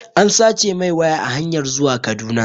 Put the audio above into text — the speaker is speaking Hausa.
An sace mai waya a hanyar zuwa Kaduna